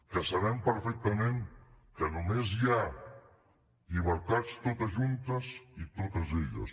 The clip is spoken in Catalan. que sabem perfectament que només hi ha llibertats totes juntes i totes elles